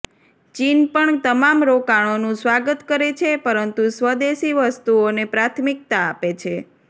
ચીન પણ તમામ રોકાણોનું સ્વાગત કરે છે પરંતુ સ્વદેશી વસ્તુઓને પ્રાથમિકતા આપે છે